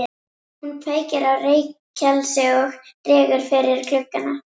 Hún kveikir á reykelsi og dregur fyrir gluggana.